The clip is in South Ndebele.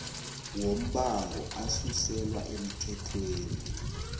wombango asuselwa emthethweni